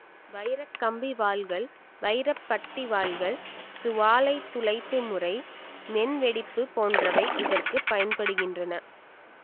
வைரக் கம்பி வாள்கள் வைரப் பட்டி வாள்கள் சுவாலைத் துளைப்பு முறை மென்வெடிப்பு போன்றவை இதற்கு பயன்படுகின்றன